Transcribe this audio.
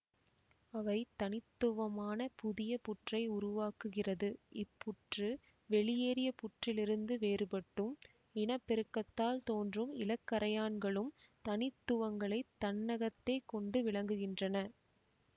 அவை தனித்துவமான புதிய புற்றை உருவாக்குகிறது இப்புற்று வெளியேறிய புற்றிலிருந்து வேறுபட்டும் இனப்பெருக்கத்தால் தோன்றும் இளக்கறையான்களும் தனித்துவங்களைத் தன்னகத்தே கொண்டு விளங்குகின்றன